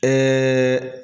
Ɛɛ